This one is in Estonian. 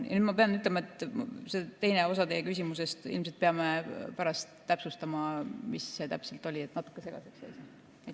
Ja nüüd ma pean ütlema, et seda teist osa teie küsimusest ilmselt peame pärast täpsustama, mis see täpselt oli, sest see jäi natuke segaseks.